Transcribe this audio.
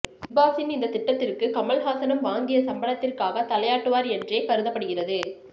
பிக்பாஸின் இந்த திட்டத்திற்கு கமல்ஹாசனும் வாங்கிய சம்பளத்திற்காக தலையாட்டுவார் என்றே கருதப்படுகிறது